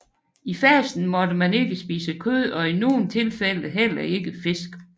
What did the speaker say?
I fasten måtte man ikke spise kød og i nogle tilfælde heller ikke fisk